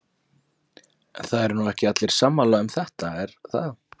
Lóa: En það eru nú ekki allir sammála um þetta er það?